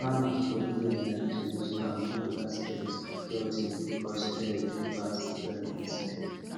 farmers for here like to use bamboo basket store things because air dey pass well inside